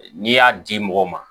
N'i y'a di mɔgɔ ma